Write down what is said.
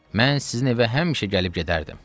Mən sizin evə həmişə gəlib gedərdim.